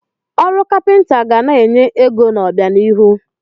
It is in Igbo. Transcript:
Ọrụ kapịnta ga na-enye ego n'obianihu.